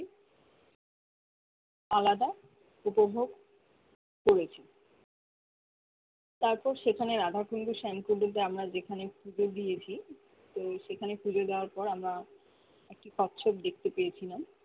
আলাদা উপভোগ করছে তার পর সেখানে রাধা আমরা যেখানে ফুটো দিয়েছি তো সেখানে পূজো দেওয়ার পর আমরা একটি একটি কচ্ছপ দেখতে পেয়েছিলাম